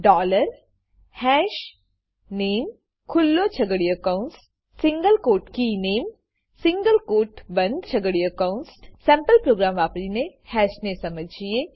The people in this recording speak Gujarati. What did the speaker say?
ડોલર હશનામે ખુલ્લો છગડીયો કૌંસ સિંગલ ક્વોટ કીનામે સિંગલ ક્વોટ બંદ છગડીયો કૌંસ સેમ્પલ પ્રોગ્રામ વાપરીને હેશને સમજીએ